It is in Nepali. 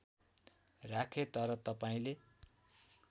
राखेँ तर तपाईँले